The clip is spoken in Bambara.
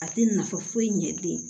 A tɛ nafa foyi ɲɛ den